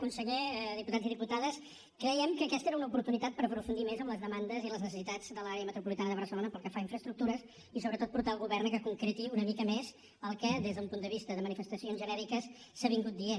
conseller diputats i diputades crèiem que aquesta era una oportunitat per aprofundir més en les demandes i en les necessitats de l’àrea metropolitana de barcelona pel que fa a infraestructures i sobretot portar el govern que concreti una mica més el que des d’un punt de vista de manifestacions genèriques s’ha vingut dient